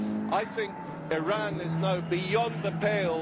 I think Iran is now beyond the pale